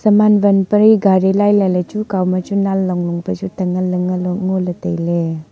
saman wan pari gari lailai ley chu kow ma chu nang long long pe chu tangan le ngo ley tai ley.